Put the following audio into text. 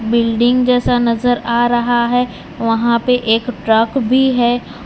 Building जैसा नजर आ रहा है वहां पे एक ट्रक भी है।